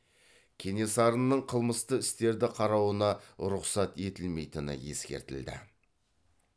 кенесарының қылмысты істерді қарауына рұқсат етілмейтіні ескертілді